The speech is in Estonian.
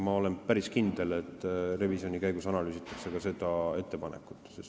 Ma olen päris kindel, et revisjoni käigus analüüsitakse ka seda.